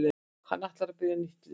Hann ætlar að byrja nýtt líf.